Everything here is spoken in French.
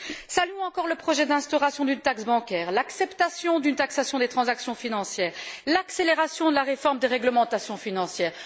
Saluons encore le projet d'instauration d'une taxe bancaire, l'acceptation d'une taxation des transactions financières, l'accélération de la réforme des réglementations financières.